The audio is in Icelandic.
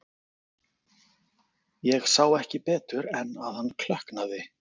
Ég sá ekki betur en að hann klökknaði.